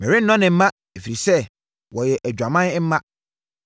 Merennɔ ne mma, ɛfiri sɛ wɔyɛ adwaman mma.